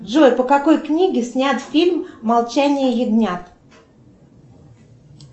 джой по какой книге снят фильм молчание ягнят